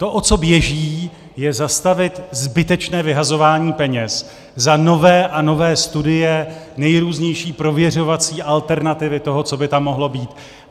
To, o co běží, je zastavit zbytečné vyhazování peněz za nové a nové studie, nejrůznější prověřovací alternativy toho, co by tam mohlo být.